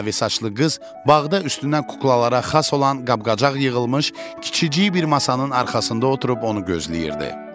Mavi saçlı qız bağda üstünə kuklalara xas olan qab-qacaq yığılmış kiçicik bir masanın arxasında oturub onu gözləyirdi.